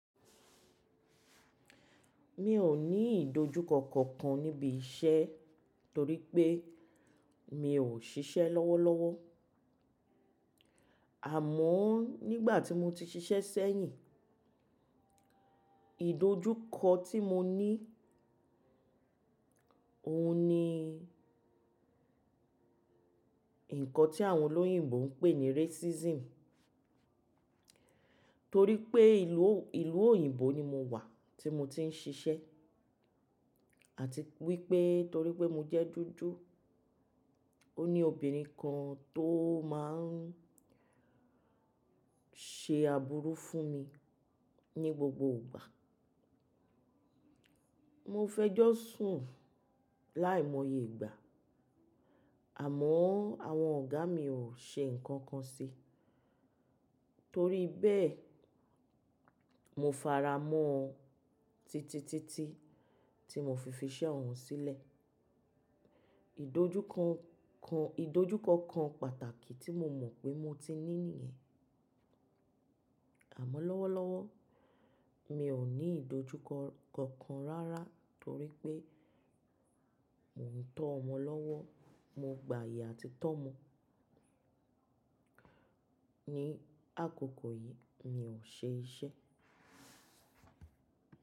Mi ò ní ìdojúkọ kankan níbi iṣẹ́ torí pé mi ò ṣiṣẹ́ lọ́wọ́lọ́wọ́. Àmọ́ nígbà tí mo ti ṣiṣẹ́ sẹ́yìn, ìdojúkọ tí mo ní, òun ni nǹkan tí àwọn olóyìnbo ń pè ní racism. Torí pé ìlú òyìnbó ni mo wà tí mo ti ń ṣiṣẹ́ àti wípé torí pé mo jẹ́ dúdú, ó ní obìnrin kan tó máa ń ṣe àbúrú fún mi ní gbogbo ìgbà. Mo fẹ́ jọ sùn ún láìmọye ìgbà, àmọ́ àwọn ọ̀gá mi ò ṣe nǹkan kan ṣi. Torí bẹ́ẹ̀, mo faramọ́ titi titi tí mo fi fiṣẹ́ òun sílẹ̀. Ìdojúkọ kan pàtàkì tí mo mọ̀ pé mo ti ní nìyẹn. Àmọ́ lọ́wọ́lọ́wọ́ mi ò ní ìdojúkọ kankan rárá torí pé mò ń tọ́ ọmọ lọ́wọ́, mo gba àyè àti tọ́ ọmọ. Ní àkókò yìí mi ò ṣe iṣẹ́.